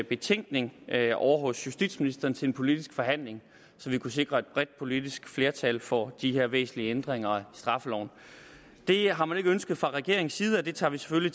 betænkning ovre hos justitsministeren til en politisk forhandling så vi kunne sikre et bredt politisk flertal for de her væsentlige ændringer af straffeloven det har man ikke ønsket fra regeringens side og det tager vi selvfølgelig